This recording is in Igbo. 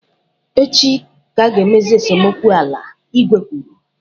Echi ka a ga emezi esemokwu ala, igwe kwuru.